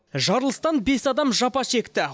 жарылыстан бес адам жапа шекті